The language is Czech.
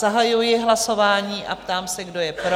Zahajuji hlasování a ptám se, kdo je pro?